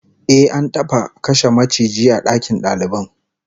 Ehh, an taba kashe maciji a dakin dalibai